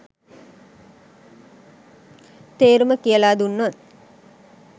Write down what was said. තේරුම කියල දුන්නොත්